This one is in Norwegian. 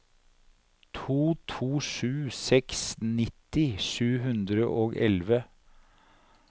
to to sju seks nitti sju hundre og elleve